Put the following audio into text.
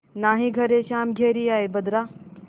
नाहीं घरे श्याम घेरि आये बदरा